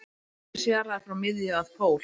Hver er radíus jarðar frá miðju að pól?